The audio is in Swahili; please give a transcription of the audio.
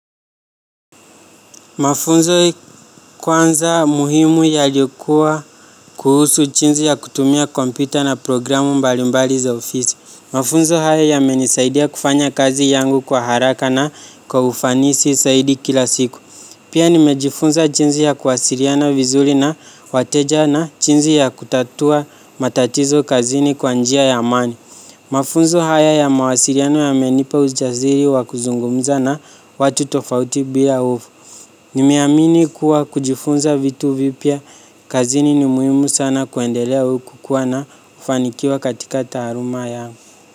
Mafunzo kwanza muhimu yalikua kuhusu jinsi ya kutumia kompyuta na programu mbalimbali za ofisi. Mafunzo haya yamenisaidia kufanya kazi yangu kwa haraka na kwa ufanisi zaidi kila siku. Pia nimejifunza jinsi ya kuwasiliana vizuri na wateja na jinsi ya kutatua matatizo kazini kwa njia ya amani. Mafunzo haya ya mawasiliano yamenipa ujasiri wa kuzungumza na watu tofauti bila hofu. Nimeamini kuwa kujifunza vitu vipya, kazini ni muhimu sana kuendelea au kukuwa na ufanikiwa katika taaluma yangu.